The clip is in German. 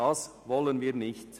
Das wollen wir nicht.